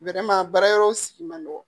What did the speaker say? baara yɔrɔw sigi man nɔgɔn